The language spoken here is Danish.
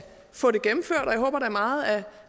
få det gennemført og jeg håber da meget at